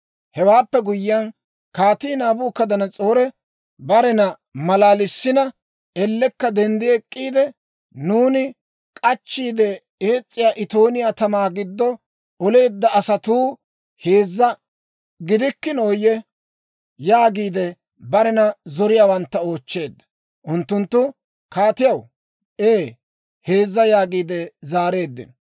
Hewaappe guyyiyaan, Kaatii Naabukadanas'oori barena maalalissina ellekka denddi ek'k'iide, «Nuuni k'achchiide ees's'iyaa itooniyaa tamaa giddo oleedda asatuu heezza gidikkinooyye?» yaagiide barena zoriyaawantta oochcheedda. Unttunttu, «Kaatiyaw, ee heezza» yaagiide zaareeddino.